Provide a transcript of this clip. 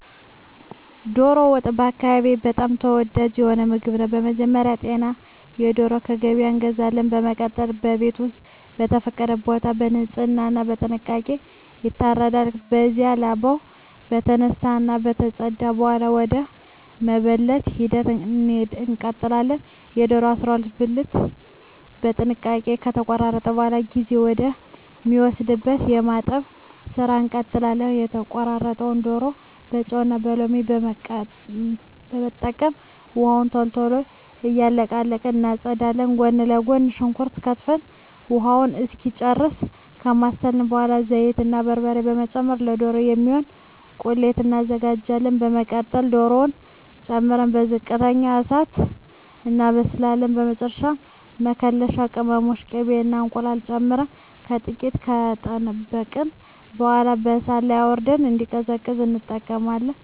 ዶሮ ወጥ በአካባቢየ በጣም ተወዳጅ የሆነ ምግብ ነው። በመጀመሪያ ጤናማ ዶሮ ከገበያ እንገዛለን። በመቀጠል በቤት ወይም በተፈቀደ ቦታ በንጽህና እና በጥንቃቄ ይታረዳል። ከዚያም ላባው ከተነሳ እና ከተፀዳ በኃላ ወደ መበለት ሂደት እንቀጥላለን። የዶሮውን 12 ብልት በጥንቃቄ ከተቆራረጠ በኃላ ጊዜ ወደ ሚወስደው የማጠብ ስራ እንቀጥላለን። የተቆራረጠውን ዶሮ በጨው እና ሎሚ በመጠቀም ውሃውን ቶሎ ቶሎ እየቀያየርን እናፀዳዋለን። ጎን ለጎን ሽንኩርት ከትፈን ውሃውን እስኪጨርስ ካማሰልን በኃላ ዘይት እና በርበሬ በመጨመር ለዶሮ የሚሆን ቁሌት እናዘጋጃለን። በመቀጠል ዶሮውን ጨምረን በዝቅተኛ እሳት እናበስላለን። በመጨረሻ መከለሻ ቅመሞችን፣ ቅቤ እና እንቁላል ጨምረን ጥቂት ከጠበቅን በኃላ ከእሳት ላይ አውርደን እንዲቀዘቅዝ እንጠብቀዋለን። በመጨረሻም ከእንጀራ ጋር አቅርበን እንመገባለን።